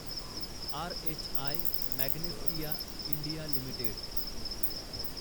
RHI Magnesita India limited